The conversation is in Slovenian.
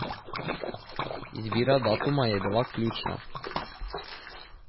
Izbira datuma je bila ključna.